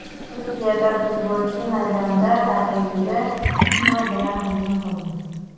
Turkiyada futbolchi maydonda raqibiga tig‘ bilan hujum qildi.